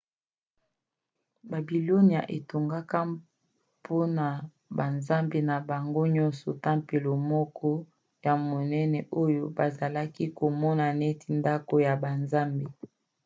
babilonia etongaka mpona banzambe na bango nyonso tempelo moko ya monene oyo bazalaki komona neti ndako ya banzambe